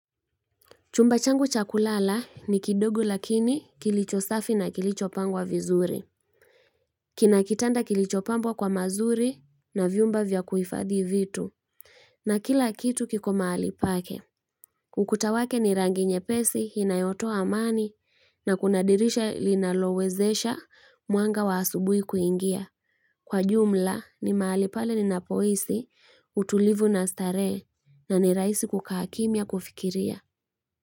Chumba changu cha kulala ni kidogo lakini kilicho safi na kilicho pangwa vizuri. Kina kitanda kilicho pambwa kwa mazuri na viumba vya kuifadhi vitu. Na kila kitu kiko mahali pake. Ukuta wake ni rangi nyepesi inayotoa amani na kuna dirisha linalo wezesha mwanga wa asubui kuingia. Kwa jumla ni mahali pale ninapohisi utulivu na starehe na ni rahisi kukaa kimya kufikiria.